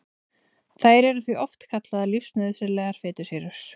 Þær eru því oft kallaðar lífsnauðsynlegar fitusýrur.